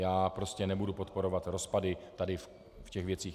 Já prostě nebudu podporovat rozpady tady v těch věcech.